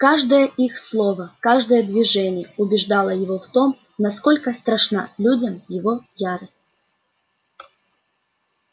каждое их слово каждое движение убеждало его в том насколько страшна людям его ярость